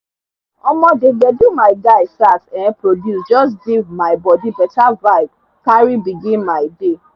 omo dey gbedu my guy sax um produce jus give mi bodi beta vibe carry begin mi day